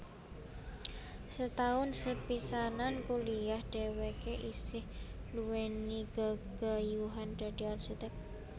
Setaun sepisanan kuliah dheweke isih duwéni gegayuhan dadi arsitek